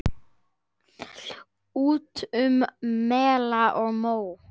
Út um mela og móa!